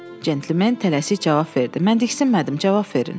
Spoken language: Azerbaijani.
Centlmen tələsik cavab verdi: Mən diksinmədim, cavab verin.